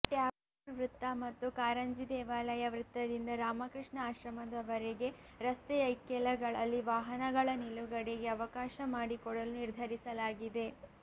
ಠ್ಯಾಗೋರ್ ವೃತ್ತ ಮತ್ತು ಕಾರಂಜಿ ದೇವಾಲಯ ವೃತ್ತದಿಂದ ರಾಮಕೃಷ್ಣ ಆಶ್ರಮದವರೆಗೆ ರಸ್ತೆಯ ಇಕ್ಕೆಲಗಳಲ್ಲಿ ವಾಹನಗಳ ನಿಲುಗಡೆಗೆ ಅವಕಾಶ ಮಾಡಿಕೊಡಲು ನಿರ್ಧರಿಸಲಾಗಿದೆ